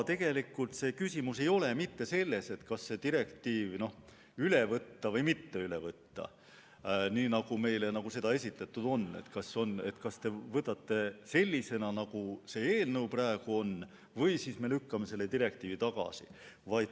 Tegelikult ei ole küsimus selles, kas see direktiiv üle võtta või mitte üle võtta, nagu see meile esitatud on – et kas võtame direktiivi üle sellisena, nagu see eelnõu praegu ette näeb, või siis lükkame selle tagasi.